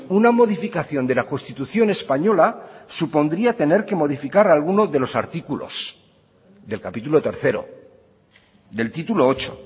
una modificación de la constitución española supondría tener que modificar algunos de los artículos del capítulo tercero del título ocho